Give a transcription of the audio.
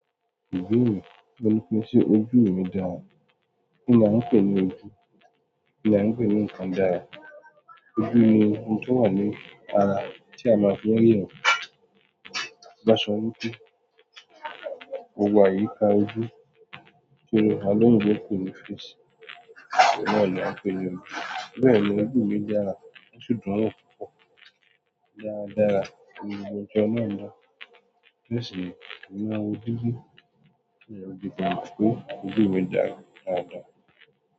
Gbígbé òmi, mò ní pé ṣe òjú mi dà. Kí là ń pé ní ojú? Kí làà ń pé ní nǹkàn dára. Ojú ni òhùn tó wà ní àrà tí à máa ń fi rí ràn. Baṣọ̀run pé, gbògbò àyíká òjú, kí ó rọ, àlọ́yìnbò ń pè ni face. Kí ló lọ́lọ́ á pè ní ojú. Bẹ́ẹ̀ni òjú mi dárà, ó sì dùn wò pùpọ̀. Dárà dárà, mò gbà pé mọ ń dá. Bẹ́ẹ̀ sì ni, mò máà ń dúdú, kí èèyàn lè fi ka mọ̀ pé ojú mi dára dáadáa.